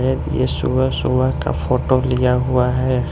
येत ये सुबह सुबह का फोटो लिया हुआ है।